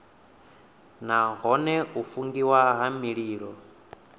nahone u fungiwa ha mililo